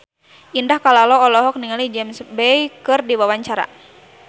Indah Kalalo olohok ningali James Bay keur diwawancara